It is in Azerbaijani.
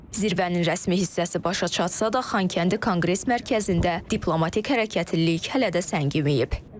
Zirvənin rəsmi hissəsi başa çatmasa da, Xankəndi Konqres Mərkəzində diplomatik hərəkətlilik hələ də səngiməyib.